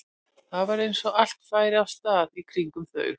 Það var eins og allt færi af stað í kringum þau.